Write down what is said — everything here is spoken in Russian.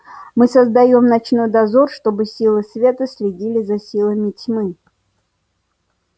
мы создаём ночной дозор чтобы силы света следили за силами тьмы